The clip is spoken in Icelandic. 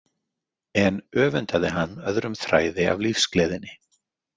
En öfundaði hann öðrum þræði af lífsgleðinni.